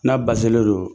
N'a baselen don